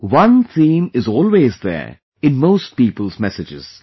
One theme is always there in most people's messages